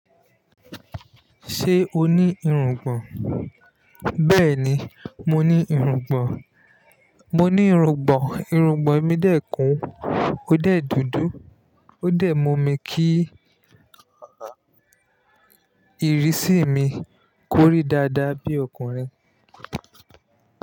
Ṣé o ní irungbọ̀n? Bẹ́ẹ̀ni, mo ní irungbọ̀n, mo ní irungbọ̀n. Irungbọ̀n mi dẹ́ kun, ó dẹ̀ dúdú, ó dẹ̀ mú mi kí ìrísí mi kórí dáadáa bí ọkùnrin.